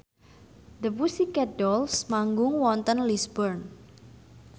The Pussycat Dolls manggung wonten Lisburn